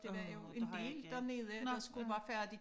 Der var jo en del dernede der skulle være færdige